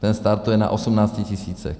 Ten startuje na 18 tisících.